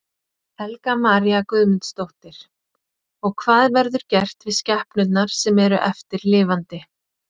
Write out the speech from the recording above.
Helga María Guðmundsdóttir: Og hvað verður gert við skepnurnar sem eru eftir lifandi?